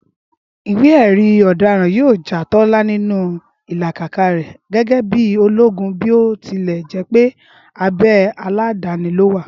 ìwé èrí ọ̀daràn yíò já Tólá nínú ìlàkàkà rè gégé bíi ológun bí o tilẹ̀ jépé abe aladani ló wà